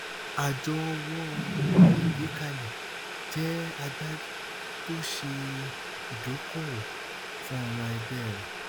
àjọ ọwọ ìgbé kalẹ jẹ agbárí tó ṣe idokoowó fún ọmọ ẹgbẹ rẹ